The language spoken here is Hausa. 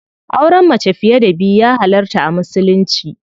Auren mace fiye da biyu ya halarta a musulunci.